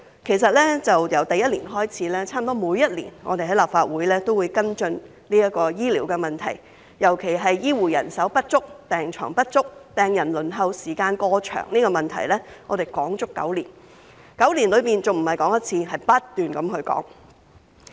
其實，由第一年開始，差不多每年我們在立法會都會跟進醫療問題，尤其是醫護人手不足、病床不足、病人輪候時間過長，這個問題我們討論了足足9年，而且9年內不止討論一次，而是不斷討論。